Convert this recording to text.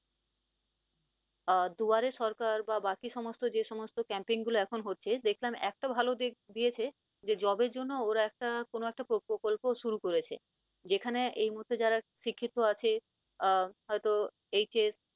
আহ দুয়ারে সরকার বা বাকি সমস্ত যে সমস্ত campaign গুলো এখন হচ্ছে দেখলাম এত ভাল দিয়েছে যে job এর জন্য ওরা একটা কোন একটা প্রকল্প শুরু করেছে, যেখানে এই মুহূর্তে যারা শিক্ষিত আছে আহ হয়তো HS